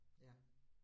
Ja